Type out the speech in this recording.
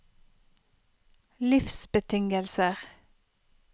livsbetingelser